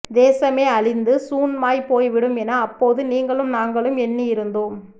தேசமே அழிந்து சூன்மாய்ப்போய்விடும் என அப்போது நீங்களும் நாங்களும் எண்ணியிருந்தோம்